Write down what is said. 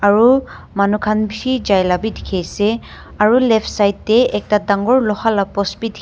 aro manu khan bishi jai la bi dikhiase aro left side tae ekta dangor loha la post bi dikhi--